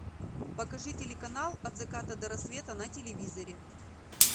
покажи телеканал от заката до рассвета на телевизоре